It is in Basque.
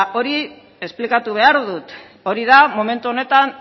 hori esplikatu behar dut hori da momentu honetan